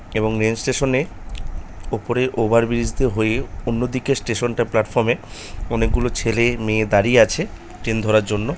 এবং rail station - এ ওপরের ওভার ব্রিজ দিয়ে হয়ে অন্য দিকের স্টেশন - টা প্লাটফর্ম - এ অনেক গুলো ছেলে মেয়ে দাঁড়িয়ে আছে ট্রেন ধরার জন্য।